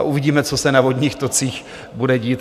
A uvidíme, co se na vodních tocích bude dít.